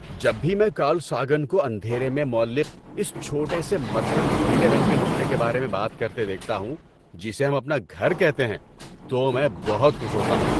جب بھی میں کارل ساگن کو اندھیرے میں معلق اس چھوٹے سے مدھم نیلے رنگ کے نقطے کے بارے میں بات کرتے دیکھتا ہوں جسے ہم اپنا گھر کہتے ہیں، تو میں بہت خوش ہوتا ہوں۔